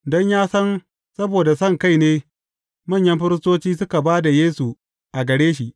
Don ya san saboda sonkai ne manyan firistoci suka ba da Yesu a gare shi.